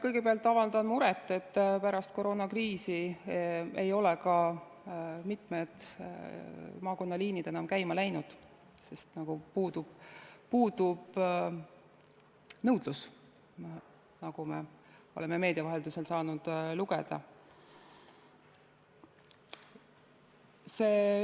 Kõigepealt avaldan muret, et pärast koroonakriisi ei ole mitmed maakonnaliinid enam käima läinud, sest puudub nõudlus, nagu me oleme meedia vahendusel saanud lugeda.